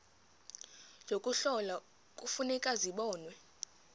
yokuhlola kufuneka zibonwe